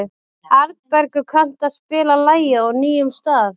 Arnbergur, kanntu að spila lagið „Á nýjum stað“?